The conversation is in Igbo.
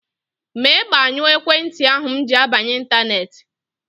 Mee gbanyụọ ekwentị ahụ m ji abanye ịntaneetị!